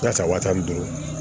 Yaasa waati ni dugu